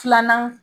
Filanan